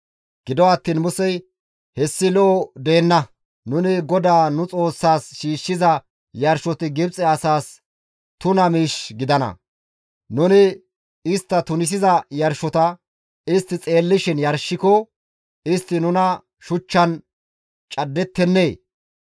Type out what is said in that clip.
Gido attiin Musey, «Hessi lo7o deenna; nuni GODAA nu Xoossaas shiishshiza yarshoti Gibxe asaas tuna miish gidana; nuni istta tunisiza yarshota istti xeellishin yarshiko, istti nuna shuchchan caddettennee?